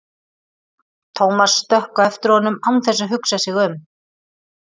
Thomas stökk á eftir honum án þess að hugsa sig um.